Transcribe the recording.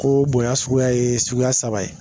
Ko bonya suguya ye suguya saba ye.